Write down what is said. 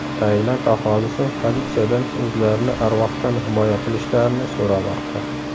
Tailand aholisi politsiyadan o‘zlarini arvohdan himoya qilishlarini so‘ramoqda.